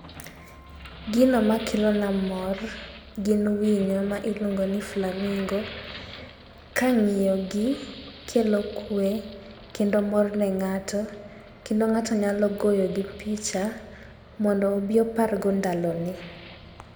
Gino makelo na mor gin winyo ma iluongo ni flamingo. Ka ng'iyo gi kelo kwe kendo mor ne ng'ato kendo ng'ato nyalo goyo gi picha mondo obi opar go ndalo ne.